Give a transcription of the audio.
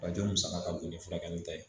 Bajan musaka ka bon ni furakɛli ta ye